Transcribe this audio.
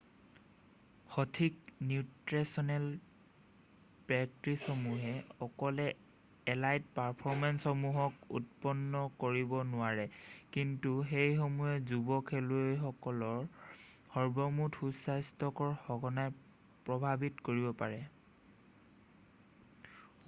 সঠিক নিউট্ৰেছনেল প্ৰেক্টিছসমূহে অকলে এলাইট পাৰফৰ্মেঞ্চসমূহক উৎপন্ন কৰিব নোৱাৰে কিন্তু সেইসমূহে যুৱ খেলুৱৈসকলৰ সৰ্বমুঠ সুস্থাস্থ্যক সঘনাই প্ৰভাৱিত কৰিব পাৰে